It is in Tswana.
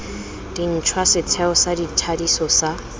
dintšhwa setheo sa thadiso sa